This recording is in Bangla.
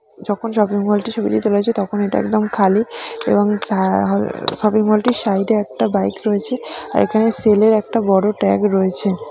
যখন শপিং মল -টির ছবিটি তুলা হয়েছে তখন এটা একদম খালি এবং উমম শপিং মল -টির সাইড -এ একটা বাইক রয়েছে এখানে ছেলের একটা বড় ট্যাগ রয়েছে ।